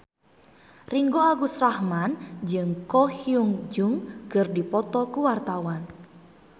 Ringgo Agus Rahman jeung Ko Hyun Jung keur dipoto ku wartawan